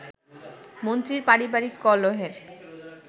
মন্ত্রীর পারিবারিক কলহের